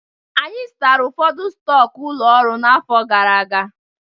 Anyị zụtara ụfọdụ stọkụ ụlọ ọrụ n'afọ gara aga.